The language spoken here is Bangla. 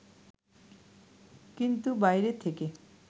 কিন্তু বাইরে থেকে